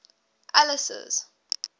alice's